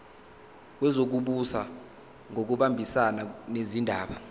wezokubusa ngokubambisana nezindaba